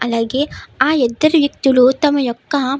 అలాగే ఆ ఇద్దరు వ్యక్తులు తమ యొక్క --